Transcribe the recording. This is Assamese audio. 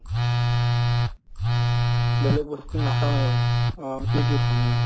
বেলেগ বস্তু নাখায়ে অ সেইটোয়ে খাওঁ মই